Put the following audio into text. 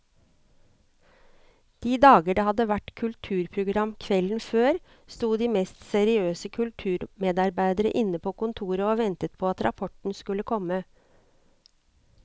De dager det hadde vært kulturprogram kvelden før, sto de mest seriøse kulturmedarbeidere inne på kontoret og ventet på at rapporten skulle komme.